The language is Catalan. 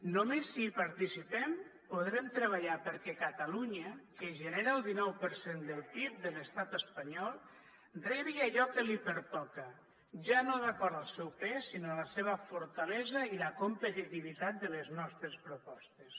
només si hi participem podrem treballar perquè catalunya que genera el dinou per cent del pib de l’estat espanyol rebi allò que li pertoca ja no d’acord al seu pes sinó a la seva fortalesa i la competitivitat de les nostres propostes